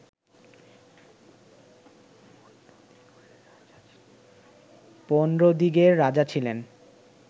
পৌণ্ড্রদিগের রাজা ছিলেন